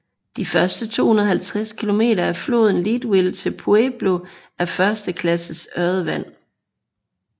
De første 250 km af floden fra Leadville til Pueblo er første klasses ørredvand